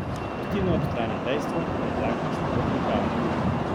Pustimo ob strani dejstvo, da je zakon slabo pripravljen.